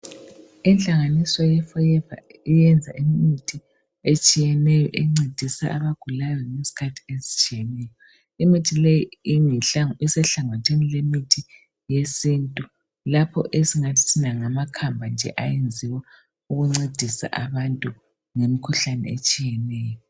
inhangaaniso ye forever iyenza imithi etshiyeneyo encedisa abagulayo ngeskhathi estshiyeneyo imithi leyo iyinhlango esenhlanganisweni yesintu lokho esingathi thina ngama khamba ayenzwa ncedisa abantu ngrmikhuhlane etshiyeneyo